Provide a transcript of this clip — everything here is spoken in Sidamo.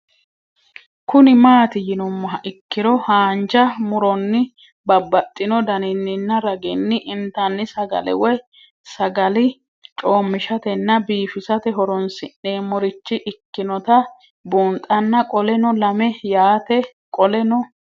Kuni mati yinumoha ikiro hanja muroni babaxino daninina ragini intani sagale woyi sagali comishatenna bifisate horonsine'morich ikinota bunxana qoleno lame yaate qoleno